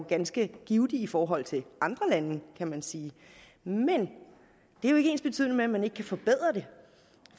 ganske givtig i forhold til i andre lande kan man sige men det er ikke ensbetydende med at man ikke kan forbedre det